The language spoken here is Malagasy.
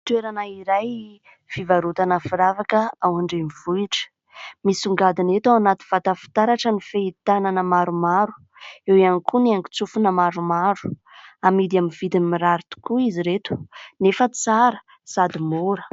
Toerana iray fivarotana firavaka ao an-drenivohitra. Misongadina eto ao anaty vata fitaratra ny fehi-tanana maromaro. Eo ihany koa ny haingon-tsofina maromaro. Amidy amin'ny vidiny mirary tokoa izy ireto nefa tsara sady mora.